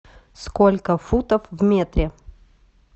сколько футов в метре